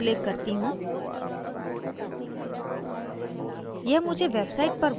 मैं यहाँ click करती हूँ